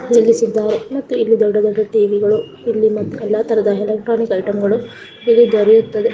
ನಿಲ್ಲಿಸಿದ್ದಾರೆ ಮತ್ತು ಇಲ್ಲಿ ದೊಡ್ಡ ದೊಡ್ಡ ಟಿವಿ ಗಳು ಇಲ್ಲಿ ಮತ್ತು ಎಲ್ಲಾ ತರಹದ ಎಲೆಕ್ಟ್ರಾನಿಕ್ ಐಟಂ ಗಳು ಇಲ್ಲಿ ದೊರೆಯುತ್ತದೆ .